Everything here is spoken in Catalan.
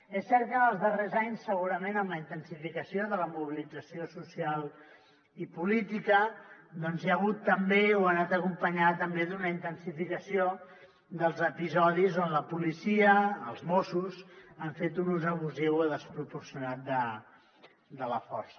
és cert que en els darrers anys segurament amb la intensificació de la mobilització social i política doncs hi ha hagut també o ha anat acompanyada també d’una intensificació dels episodis on la policia els mossos han fet un ús abusiu i desproporcionat de la força